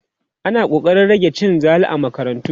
ana ƙoƙarin rage cin zali a makarantu